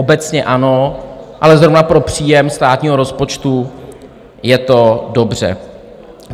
Obecně ano, ale zrovna pro příjem státního rozpočtu je to dobře.